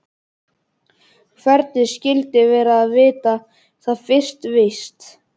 Hvernig skyldi vera að vita það fyrir víst.